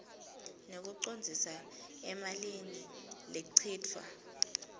ngekucondzisa emalini lechitfwa